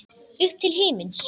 Upp til himins.